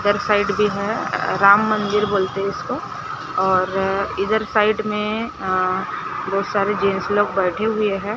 इधर साइड भी है राम मंदिर बोलते है इसको और अं इधर साइड में बहोत सारे जेंट्स लोग बैठे हुएं हैं।